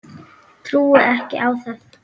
Trúi ekki á það.